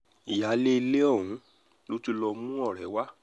ìyáálé ilé ọ̀hún ló tún lọ́ọ́ mú ọ̀rẹ́ rẹ wá